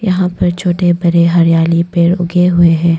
यहां पर छोटे बड़े हरियाली पेड़ उगे हुए हैं।